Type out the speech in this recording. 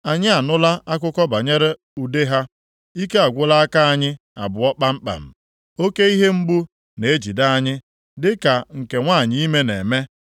Anyị anụla akụkọ banyere ude ha, ike agwụla aka anyị + 6:24 Ya bụ, akụdawo abụọ kpamkpam. Oke ihe mgbu na-ejide anyị dị ka nke nwanyị ime na-eme.